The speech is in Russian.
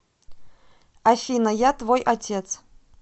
афина я твой отец